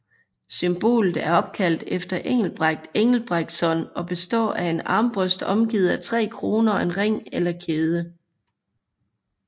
Symbolet er opkaldt efter Engelbrekt Engelbrektsson og består af en armbrøst omgivet af tre kroner og en ring eller kæde